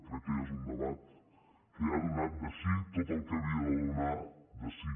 crec que ja és un debat que ja ha donat de si tot el que havia de donar de si